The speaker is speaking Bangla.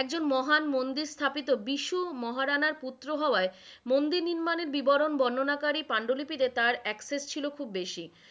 একজন মহান মন্দির স্থাপিত বিষু মহারাণার পুত্র হওয়ায় মন্দির নির্মাণের বিবরণ বর্ণনাকারী পাণ্ডুলিপি তে তার access ছিল খুব বেশি,